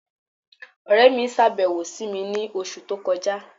Ọ̀rẹ̀ mi ṣábẹ̀wò sí mi ni ọṣù tó kọja